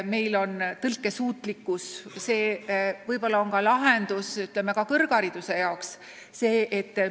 Meil on tõlkesuutlikkus ja see on hea lahendus ka kõrghariduse andmise seisukohalt.